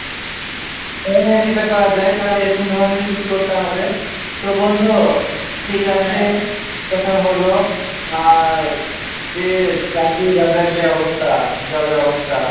হম সেটা করা যায় তাহলে এরকম ধরণেরই কিছু করতে হবে তো বন্ধু ঠিক আছে কথা হল আর যে চাকরি বাজার যা অবস্থা